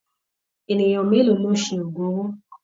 Ènìyàn mélòó ló ṣe oògùn owó?